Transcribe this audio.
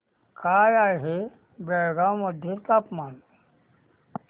काय आहे बेळगाव मध्ये तापमान